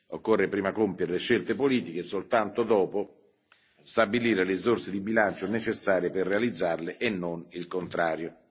Occorre prima compiere le scelte politiche e soltanto dopo stabilire le risorse di bilancio necessarie per realizzarle, e non il contrario.